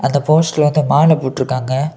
அந்த போஸ்ட்ல வந்து மால போட்டுருக்காங்க.